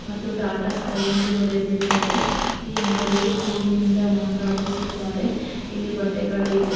ಮತ್ತು ಟಾಟಾ ಸ್ಕೈ ಎಂದು ಬರೆದಿದ್ದಾರೆ ಈ ಅಂಗಡಿಗೆ ಹೂವಿನಿಂದ ಅಲಂಕಾರಿಸಿದ್ದಾರೆ ಇಲ್ಲಿ ಬಟ್ಟೆಗಳು ಇವೆ.